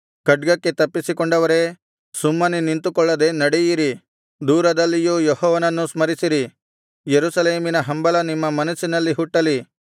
ಖಡ್ಗಕ್ಕೆ ತಪ್ಪಿಸಿಕೊಂಡವರೇ ಸುಮ್ಮನೆ ನಿಂತುಕೊಳ್ಳದೆ ನಡೆಯಿರಿ ದೂರದಲ್ಲಿಯೂ ಯೆಹೋವನನ್ನು ಸ್ಮರಿಸಿರಿ ಯೆರೂಸಲೇಮಿನ ಹಂಬಲ ನಿಮ್ಮ ಮನಸ್ಸಿನಲ್ಲಿ ಹುಟ್ಟಲಿ